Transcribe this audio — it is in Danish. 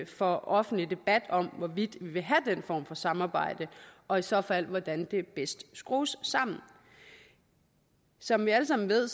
for offentlig debat om hvorvidt vi vil have den form for samarbejde og i så fald hvordan det bedst skrues sammen som vi alle sammen ved